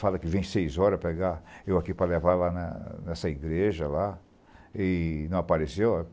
Fala que vem seis horas para pegar eu aqui para levar lá na nessa igreja lá e não apareceu.